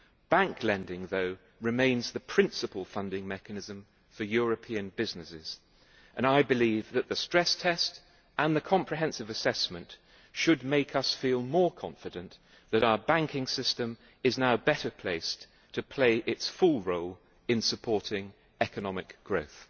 Bank lending, though, remains the principal funding mechanism for European businesses, and I believe that the stress test and the comprehensive assessment should make us feel more confident that our banking system is now better placed to play its full role in supporting economic growth.